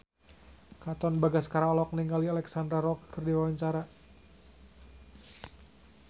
Katon Bagaskara olohok ningali Alexandra Roach keur diwawancara